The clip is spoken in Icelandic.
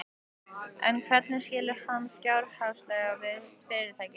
En hvernig skilur hann fjárhagslega við fyrirtækið?